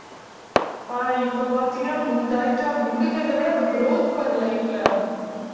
ஆனா இப்ப பாத்தீங்கன்னா குண்டாயிட்டா குண்டுங்கிறதை விட growth பாரு life ல